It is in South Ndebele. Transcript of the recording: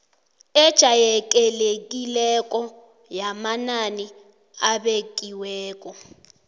ejayelekileko yamanani abekiweko